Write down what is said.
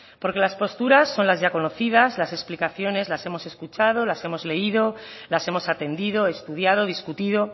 porque las posturas son las ya conocidas las explicaciones las hemos escuchado las hemos leído las hemos atendido estudiado discutido